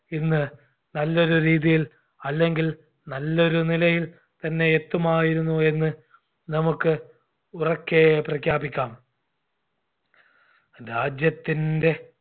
ഇന്ന് നല്ലൊരു രീതിയിൽ അല്ലെങ്കിൽ നല്ലൊരു നിലയിൽ തന്നെ എത്തുമായിരുന്നു എന്ന് നമ്മുക്ക് ഉറക്കേ പ്രഖ്യാപിക്കാം രാജ്യത്തിൻറെ